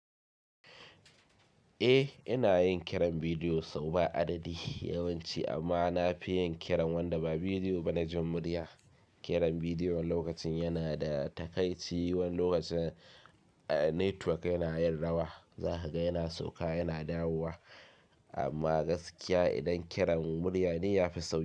Eh ina yin kiran bidiyo sau ba adadi yawanci amma na fi yin kiran wanda ba bidiyo ba na jan murya. Kiran bidiyo lokacin yana da takaitc, wani lokacin, ah, network yana yin rawa. Za ka ga yana sauka yana dawowa amma gaskiya idan kiran murya ne ya fi sauki.